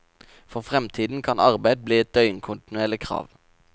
For fremtiden kan arbeid bli et døgnkontinuerlig krav.